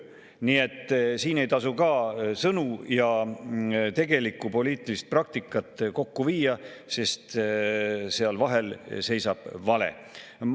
Nii et siin ei tasu ka sõnu ja tegelikku poliitilist praktikat kokku viia, sest seal vahel seisab vale.